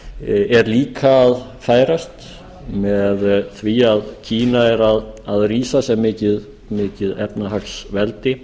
alþjóðaviðskiptunum er líka að færast með því að kína er að rísa sem mikið efnahagsveldi